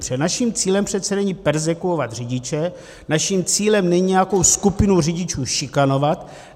Protože naším cílem přece není perzekvovat řidiče, naším cílem není nějakou skupinu řidičů šikanovat.